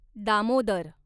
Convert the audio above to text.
Damodar